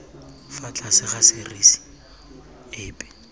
fa tlase ga serisi epe